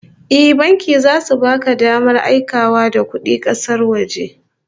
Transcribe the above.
Eh, banki zasu baka damar aikawa da kudi kasar waje